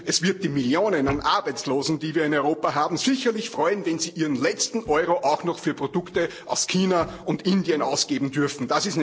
Und es wird die Millionen an Arbeitslosen, die wir in Europa haben, sicherlich freuen, wenn sie ihren letzten Euro auch noch für Produkte aus China und Indien ausgeben dürfen.